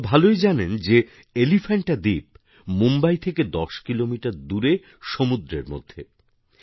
আপনারা ভালোই জানেন যে এলিফ্যান্টা দ্বীপ মুম্বাই থেকে দশ কিলোমিটার দূরে সমুদ্রের মধ্যে